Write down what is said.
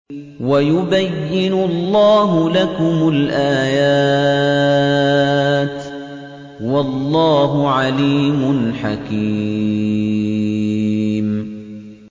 وَيُبَيِّنُ اللَّهُ لَكُمُ الْآيَاتِ ۚ وَاللَّهُ عَلِيمٌ حَكِيمٌ